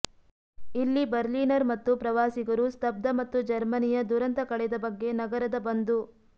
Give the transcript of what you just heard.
ಇಲ್ಲಿ ಬರ್ಲಿನರ್ ಮತ್ತು ಪ್ರವಾಸಿಗರು ಸ್ತಬ್ಧ ಮತ್ತು ಜರ್ಮನಿಯ ದುರಂತ ಕಳೆದ ಬಗ್ಗೆ ನಗರದ ಬಂದು